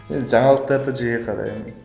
енді жаңалықтарды жиі қараймын